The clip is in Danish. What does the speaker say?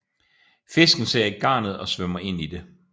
Fisken ser ikke garnet og svømmer ind i det